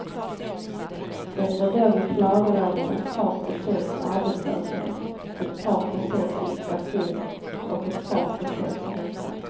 Det var då vi klagade över ett par procents arbetslöshet, ett par procents inflation och ett par procents ränta.